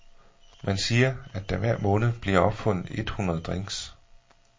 Man siger, at der hver måned bliver opfundet et hundrede drinks.